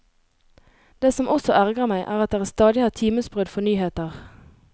Det som også ergrer meg, er at dere stadig har timesbrudd for nyheter.